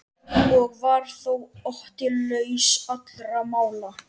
Og var þó Otti laus allra mála.